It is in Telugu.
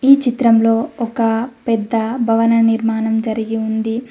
ఈ చిత్రంలో ఒక పెద్ద భవన నిర్మాణం జరిగి ఉంది.